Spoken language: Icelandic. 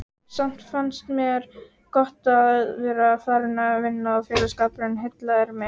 Samt fannst mér gott að vera farin að vinna og félagsskapurinn heillaði mig.